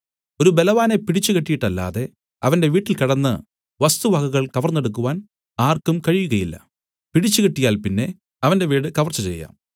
ഒരു ബലവാനെ പിടിച്ചുകെട്ടീട്ടല്ലാതെ അവന്റെ വീട്ടിൽ കടന്നു വസ്തുവകകൾ കവർന്നെടുക്കുവാൻ ആർക്കും കഴിയുകയില്ല പിടിച്ച് കെട്ടിയാൽ പിന്നെ അവന്റെ വീട് കവർച്ച ചെയ്യാം